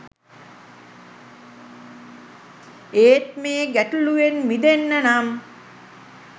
ඒත් මේ ගැටලූවෙන් මිදෙන්න නම්